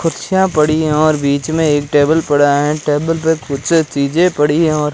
कुर्सियां पड़ी है और बीच में एक टेबल पड़ा है टेबल पे कुछ चीजे पड़ी हैं और --